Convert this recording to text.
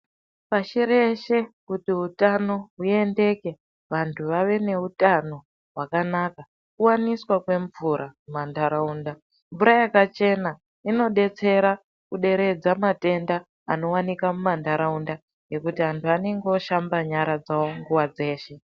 Pashi reshe kuti utano huendeke vantu vave neutano hwakanaka kuwaniswa kwemvura mumantaraunda. Mvura yakachena inodetsera kuderedza matenda anowanika mumantaraunda ngekuti antu anenge oshamba nyara dzawo nguwa dzeshe.